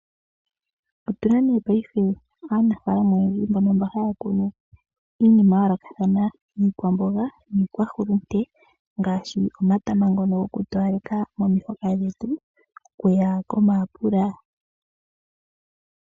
Otuna nduno paife aanafaalama oyendji mbono mba haya kunu iinima ya yoolokathana, iikwamboga niikwahulute, ngaashi omatama ngono goku towaleka momihoka dhetu oku ya ko mayapula.